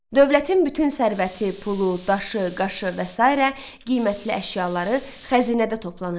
Dövlətin bütün sərvəti, pulu, daşı, qaşı və sairə qiymətli əşyaları xəzinədə toplanırdı.